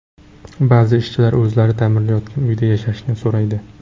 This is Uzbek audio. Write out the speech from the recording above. Ba’zi ishchilar o‘zlari ta’mirlayotgan uyda yashashni so‘raydi.